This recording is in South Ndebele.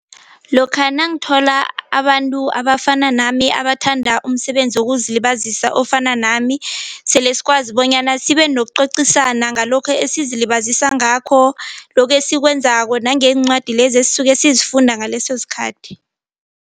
Lokha nangthola abantu abafana nami abathanda umsebenzi wokuzilibazisa ofana nami sele sikwazi bonyana sibe nokucocisana ngalokho esizilibazisa ngakho lokhu esikwenzako nangeencwadi lezi esisuka sizifunda ngaleso sikhathi.